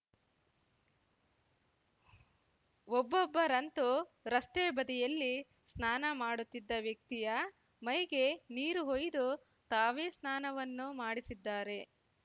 ಒಬ್ಬೊಬ್ಬರಂತೂ ರಸ್ತೆ ಬದಿಯಲ್ಲಿ ಸ್ನಾನ ಮಾಡುತ್ತಿದ್ದ ವ್ಯಕ್ತಿಯ ಮೈಗೆ ನೀರು ಹೊಯ್ದು ತಾವೇ ಸ್ನಾನವನ್ನೂ ಮಾಡಿಸಿದ್ದಾರೆ